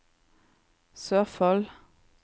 Sørfold